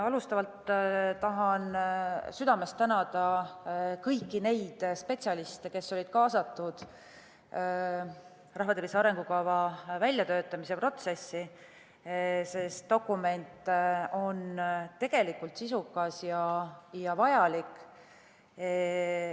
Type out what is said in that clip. Alustuseks tahan südamest tänada kõiki neid spetsialiste, kes olid kaasatud rahvastiku tervise arengukava väljatöötamise protsessi, sest dokument on sisukas ja vajalik.